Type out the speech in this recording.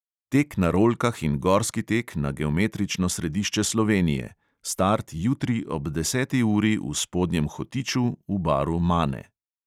Tek na rolkah in gorski tek na geometrično središče slovenije: start jutri ob deseti uri v spodnjem hotiču v baru mane.